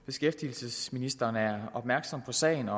beskæftigelsesministeren er opmærksom på sagen